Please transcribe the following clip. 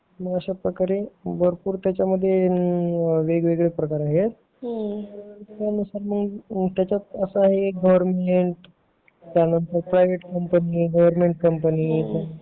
होय मग अशा प्रकारे त्यामध्ये पण गवर्मेंट कंपनी प्रायव्हेट कंपनी